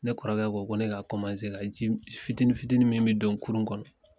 Ne kɔrɔkɛ ko ko ne k' ka ji fitinin fitinin min bɛ don kurun kɔnɔ